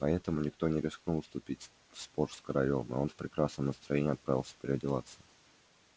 поэтому никто не рискнул вступить в спор с королём и он в прекрасном настроении отправился переодеваться